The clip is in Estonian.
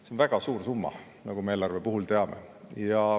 See on väga suur summa, nagu me eelarve puhul teame.